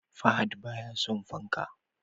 Fahad baya son fanka